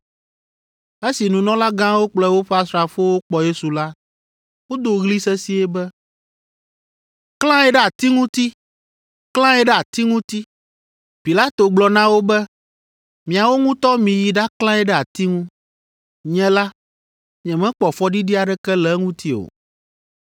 Esi nunɔlagãwo kple woƒe asrafowo kpɔ Yesu la, wodo ɣli sesĩe be, “Klãe ɖe ati ŋuti! Klãe ɖe ati ŋuti!” Pilato gblɔ na wo be, “Miawo ŋutɔ miyi ɖaklãe ɖe ati ŋu. Nye la, nyemekpɔ fɔɖiɖi aɖeke le eŋuti o.”